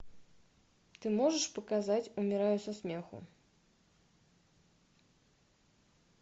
ты можешь показать умираю со смеху